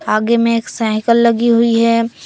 आगे में एक साइकल लगी हुई है।